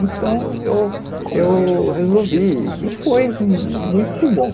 Então eu eu resolvi e foi muito bom.